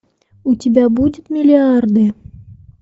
у тебя будет миллиарды